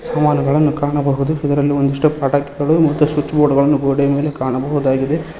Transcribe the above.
ಸಾಮಾನುಗಳನ್ನು ಕಾಣಬಹುದು ಇದರಲ್ಲಿ ಒಂದಿಷ್ಟು ಪ್ರಾಡಕ್ಟ್ ಗಳು ಮತ್ತು ಸ್ವಿಚ್ ಬೋರ್ಡ್ ಗಳನ್ನು ಗೋಡೆಯ ಮೇಲೆ ಕಾಣಬಹುದಾಗಿದೆ.